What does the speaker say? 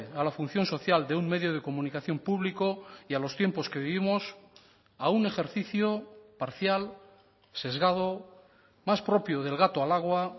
a la función social de un medio de comunicación público y a los tiempos que vivimos a un ejercicio parcial sesgado más propio de el gato al agua